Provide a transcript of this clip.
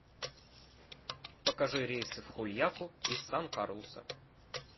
покажи рейсы в хульяку из сан карлуса